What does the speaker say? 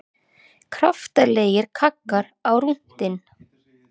Kraftalegir kaggar á rúntinn